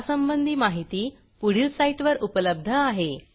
यासंबंधी माहिती पुढील साईटवर उपलब्ध आहे